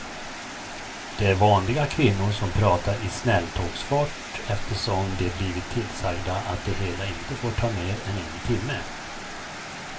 Det är vanliga kvinnor som pratar i snälltågsfart eftersom de blivit tillsagda att det hela inte får ta mer än en timme.